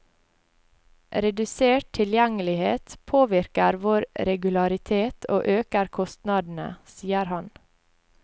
Redusert tilgjengelighet påvirker vår regularitet og øker kostnadene, sier han.